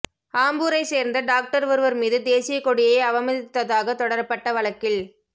ஆம்பூரைச் சேர்ந்த டாக்டர் ஒருவர் மீது தேசியக்கொடியை அவமதித்ததாக தொடரப்பட்ட வழக்கில்